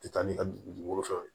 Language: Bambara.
Tɛ taa ni ka dugukolo fɛnw